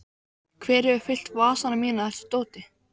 Hver hefur fyllt vasana mína af þessu dóti?